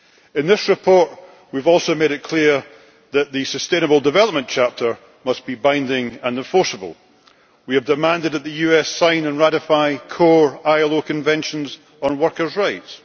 In this report we have also made it clear that the sustainable development chapter must be binding and enforceable. We have demanded that the US sign and ratify core ILO conventions on workers' rights